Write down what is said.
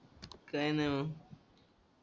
काय नाय मग